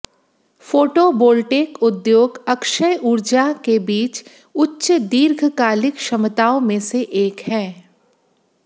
photovoltaic उद्योग अक्षय ऊर्जा के बीच उच्च दीर्घकालिक क्षमताओं में से एक है